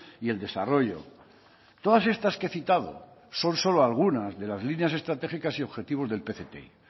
y el desarrollo todas estas que he citado son solo algunas de las líneas estratégicas y objetivos del pcti